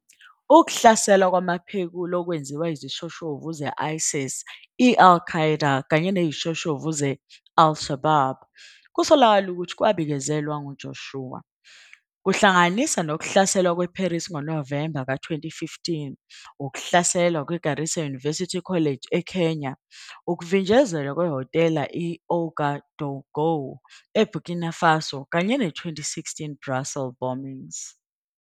Ukuhlaselwa kwamaphekula okwenziwa izishoshovu ze-ISIS, i-Al-Qaeda kanye nezishoshovu ze-Al-Shabaab kusolakala ukuthi kwabikezelwa nguJoshua, kuhlanganisa nokuhlaselwa kweParis ngoNovemba 2015, ukuhlaselwa kweGarissa University College eKenya, ukuvinjezelwa kwehhotela i-Ouagadougou eBurkina Faso kanye ne-2016 Brussels Bombings.